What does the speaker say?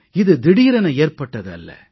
இது திடீரென ஏற்பட்டது அல்ல